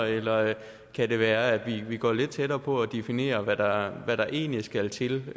eller kan det være at vi går lidt tættere på og definerer hvad der hvad der egentlig skal til